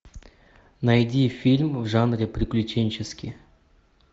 найди фильм в жанре приключенческий